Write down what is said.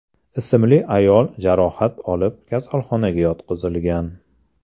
ismli ayol jarohat olib, kasalxonaga yotqizilgan.